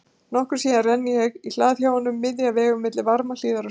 Nokkru síðar renni ég í hlað hjá honum, miðja vegu milli Varmahlíðar og Sauðárkróks.